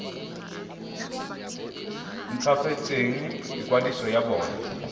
nt hwafatse ikwadiso ya bona